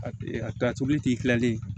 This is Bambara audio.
A ka tobilitigi tilali